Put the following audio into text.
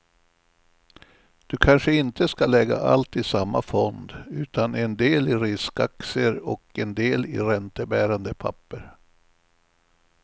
Du kanske inte ska lägga allt i samma fond, utan en del i riskaktier och en del i räntebärande papper.